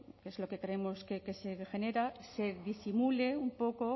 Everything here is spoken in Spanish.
que es lo que creemos que se genera se disimule un poco